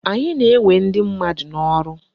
Anyị na-ewe ndị mmadụ n'ọrụ.